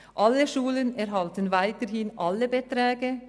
Erstens: Alle Schulen erhalten weiterhin die ganzen Beträge;